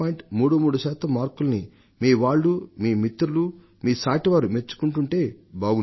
33 శాతం మార్కుల్ని మీ వాళ్లు మీ మిత్రులు మీ సాటి వారు మెచ్చుకుని ఉంటే బాగుండేది